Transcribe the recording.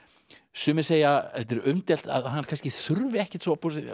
sumir segja þetta er umdeilt að hann þurfi ekkert